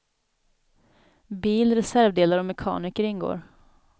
Bil, reservdelar och mekaniker ingår.